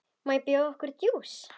Má bjóða okkur djús?